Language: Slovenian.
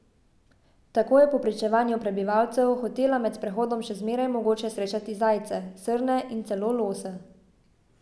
Tako je po pričevanju prebivalcev hotela med sprehodom še zmeraj mogoče srečati zajce, srne in celo lose.